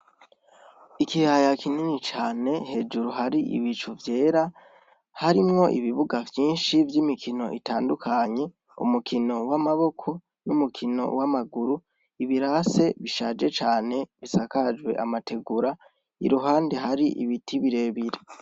Ikiyaya kinini cane hejuru hari ibicu vyera ,harimwo ibibuga vyinshi vy'imikino itandukanye, umukino w'amaboko, n'umukino w'amaguru, ibirase bishaje cane bisakajwe amategura, iruhande hari ibiti birebire.